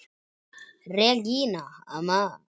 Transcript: Regína amma.